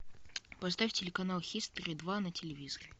поставь телеканал хистори два на телевизоре